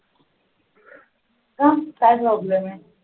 काऊन काय problem आहे